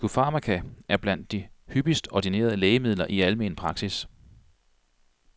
Psykofarmaka er blandt de hyppigst ordinerede lægemidler i almen praksis.